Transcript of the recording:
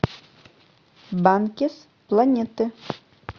банкес планеты